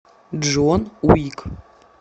джон уик